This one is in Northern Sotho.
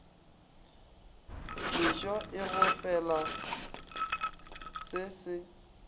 mešo e gofela se se